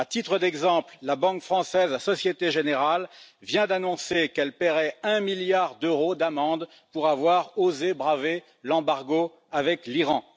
À titre d'exemple, la banque française Société Générale vient d'annoncer qu'elle paierait un milliard d'euros d'amende pour avoir osé braver l'embargo visant l'Iran.